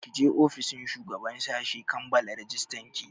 Ki je ofishin shugaban sashi kammala rajistan ki!